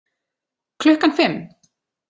Klukkan fimm